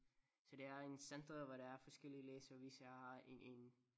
Så det er en center hvor der er forskellige læger så vi så har en en